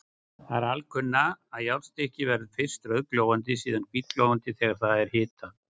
Það er alkunna, að járnstykki verður fyrst rauðglóandi og síðan hvítglóandi þegar það er hitað.